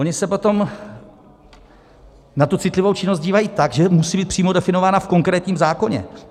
Oni se potom na tu citlivou činnost dívají tak, že musí být přímo definována v konkrétním zákoně.